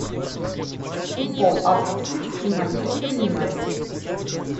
футбол апл сити и манчестер юнайтед